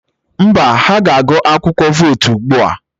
Mba, ha ga-agụ akwụkwọ vootu ugbu a.